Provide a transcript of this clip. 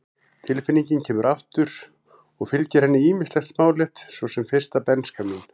Tilfinningin kemur aftur og fylgir henni ýmislegt smálegt, svo sem fyrsta bernska mín.